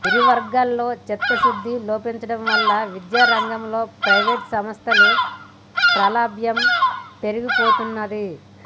ఇరువర్గాలలో చిత్తశుద్ధి లోపించడంవలన విద్యారంగంలో ప్రైవేటు సంస్థల ప్రాబల్యం పెరిగిపోతున్నది